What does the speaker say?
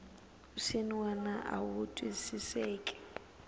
swin wana a wu twisiseki